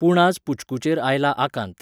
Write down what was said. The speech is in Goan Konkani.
पूणआज पुच्कूचेर आयला आकांत .